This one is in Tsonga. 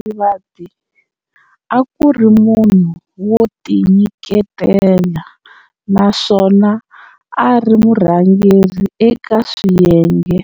Marivate akuri munhu wotinyiketela naswona ari murhangeri eka swiyenge